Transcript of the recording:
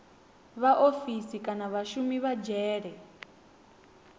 vhaofisi kana vhashumi vha dzhele